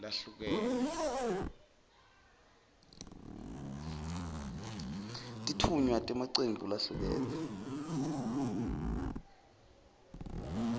lahlukene